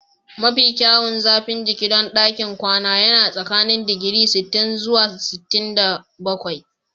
Mafi kyawun zafin jiki don ɗakin kwana yana tsakanin digiri sittin zuwa sittin da bakwai